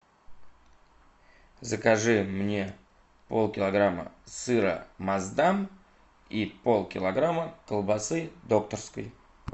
закажи мне полкилограмма сыра маасдам и полкилограмма колбасы докторской